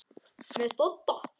Með Dodda?